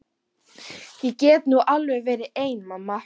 Ég get nú alveg verið ein mamma.